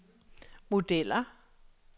modeller